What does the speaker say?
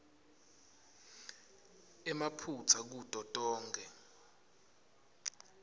emaphutsa kuto tonkhe